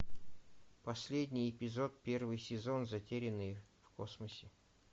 последний эпизод первый сезон затерянные в космосе